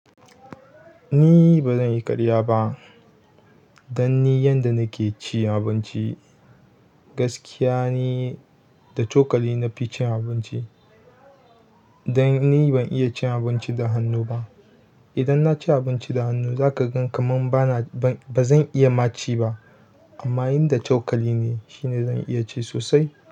Eh bazanyi karya ba don ni yadda nake cin abinci, gaskiya ni da cokali nafi cin abinci, don ni ban iya cin abinci da hannu ba idan naci abinci da hannu zaka gan kamar bana, ba zan iya maci ba. Amma yanda cokali ne shine zan iya ci sosai.